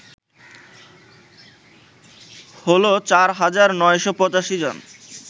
হল ৪৯৮৫ জন